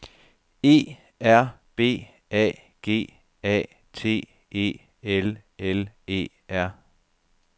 E R B A G A T E L L E R